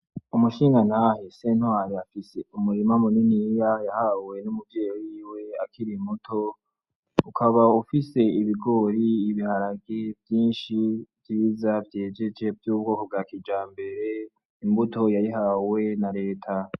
Umu shingantahe Sentwari afise umurima mu niniya yahawe n'umuvyeyi wiwe akiri muto ukaba ufise ibigori, ibiharage vyishi vyiza vyejeje vy'ubwoko bwa kijambere, Imbuto burya yayihawe n'areta.